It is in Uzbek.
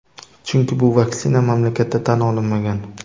Chunki bu vaksina mamlakatda tan olinmagan.